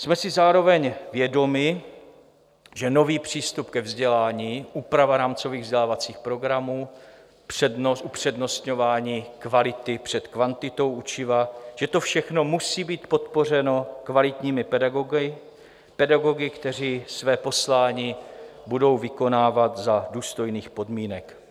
Jsme si zároveň vědomi, že nový přístup ke vzdělání, úprava rámcových vzdělávacích programů, upřednostňování kvality před kvantitou učiva, že to všechno musí být podpořeno kvalitními pedagogy - pedagogy, kteří své poslání budou vykonávat za důstojných podmínek.